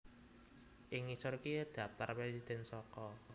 Ing ngisor iki dhaptar presidhèn saka